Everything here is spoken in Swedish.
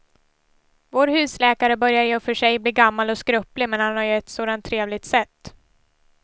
Vår husläkare börjar i och för sig bli gammal och skröplig, men han har ju ett sådant trevligt sätt!